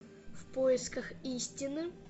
в поисках истины